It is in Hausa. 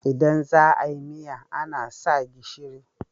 Idan za a yi miya ana sa gishiri.